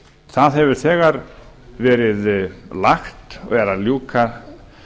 það hefur þegar verið lagt og verið að ljúka